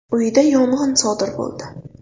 uyida yong‘in sodir bo‘ldi.